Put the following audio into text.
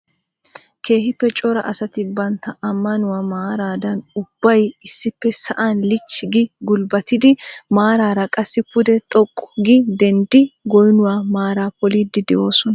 Keehippe cora asati bantta ammanuwaa maaradan ubbay issippe sa'an lichchi gi gulbbattidi maaraara qassi pude xoqqu gi denddidi goynuwa maara polliidi de'oosona.